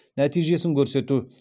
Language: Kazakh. нәтижесін көрсету